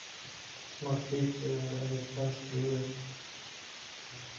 смотреть американские ужастики